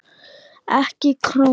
EKKI KRÓNU?